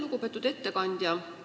Lugupeetud ettekandja!